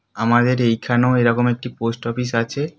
আমাদের এইখানেও এরকম একটি পোস্ট অফিস আছে।